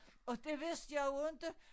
Og det vidste jeg jo inte